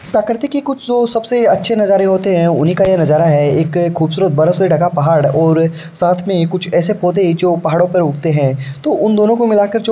प्रकृति के कुछ जो सबसे अच्छे नज़ारे होते है उन्ही का ये नजारा है। एक खुबसूरत बरफ से ढका पहाड़ और साथ में कुछ ऐसे पोधे जो पहाड़ो पर उगते है। तो उन दोनों को मिलाकर जो --